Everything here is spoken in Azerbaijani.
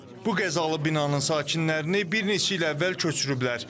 Bu qəzalı binanın sakinlərini bir neçə il əvvəl köçürüblər.